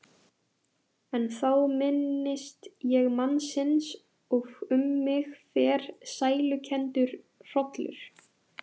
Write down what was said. En þá minnist ég mannsins og um mig fer sælukenndur hrollur.